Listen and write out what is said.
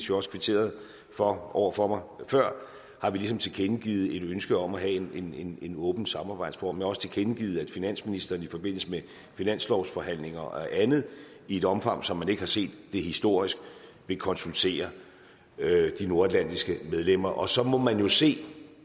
jo også kvitteret for over for mig før har vi ligesom tilkendegivet et ønske om at have en en åben samarbejdsform jeg har også tilkendegivet at finansministeren i forbindelse med finanslovsforhandlingerne og andet i et omfang som man ikke har set det historisk vil konsultere de nordatlantiske medlemmer og så må man jo se